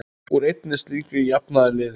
Úr einni slíkri jafnaði liðið.